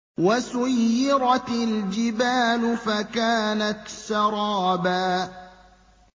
وَسُيِّرَتِ الْجِبَالُ فَكَانَتْ سَرَابًا